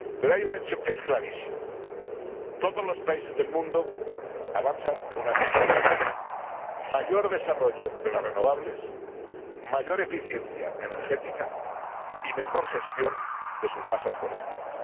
Pero hay un hecho que es clarísimo. Todos los países del mundo avanzan en una misma dirección mayor desarrollo de las renovables, mayor eficiencia energética y mejor gestión de sus masas forestales.